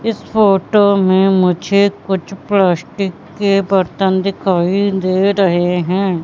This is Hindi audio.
इस फोटो में मुझे कुछ प्लास्टिक के बर्तन दिखाई दे रहे हैं।